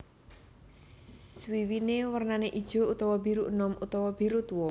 Swiwiné wernané ijo utawa biru enom utawa biru tuwa